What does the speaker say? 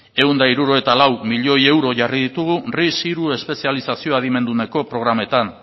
ehun eta hirurogeita lau milioi euro jarri ditugu ris hiru espezializazio adimenduneko programetan